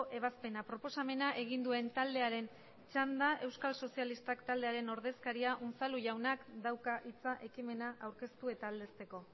ebazpena proposamena egin duen taldearen txanda euskal sozialistak taldearen ordezkaria unzalu jaunak dauka hitza ekimena aurkeztu eta aldezteko